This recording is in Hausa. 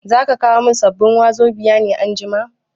Zaka kawo min sabbin wazobia ne anjima?